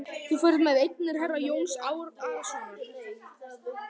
Þú ferð með eignir herra Jóns Arasonar.